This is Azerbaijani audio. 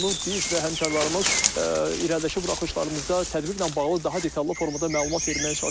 Biz və həmkarlarımız irəlidəki buraxılışlarımızda tədbirlə bağlı daha detallı formada məlumat verməyə çalışacağıq.